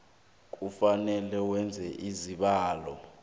kufanele wenze isibawo